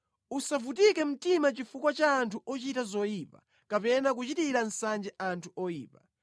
Usavutike mtima chifukwa cha anthu ochita zoyipa kapena kuchitira nsanje anthu oyipa,